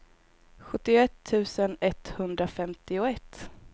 sjuttioett tusen etthundrafemtioett